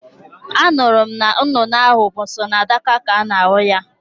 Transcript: Anụrụ m na nnụnụ ahụ bụ sọ na Dhaka ka a na-ahụ ya